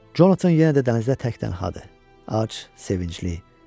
Jonathan yenə də dənizdə təkdənədir, ac, sevincli.